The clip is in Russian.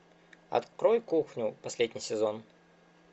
открой кухню последний сезон